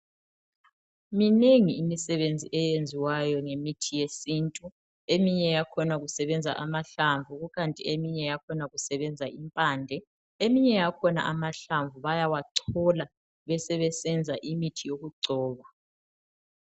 Minengi imisebenzi eyenziwayo ngemithi yesintu eminye yakhona kusebenza amahlamvu kukanti eminye yakhona kusebenza impande eminye yakhona amahlamvu bayawachola besebesenza imithi okugcoba .